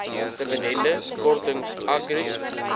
dividende kortings agri